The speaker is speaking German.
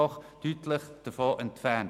Davon sind wir deutlich entfernt.